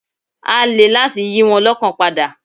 Á le láti yí wọn lọ́kàn padà.